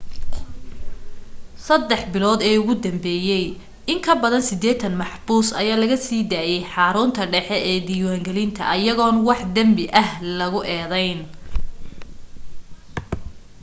3 bilood ee ugu danbese in kabadan 80 maxbuus ayaa laga sii daayay xarunta dhaxe ee diwaan gelinta ayagoon wax danbi ah lagu edeyn